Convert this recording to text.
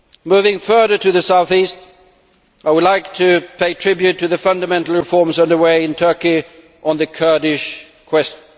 Moving further to the south east, I would like to pay tribute to the fundamental reforms under way in Turkey on the Kurdish question.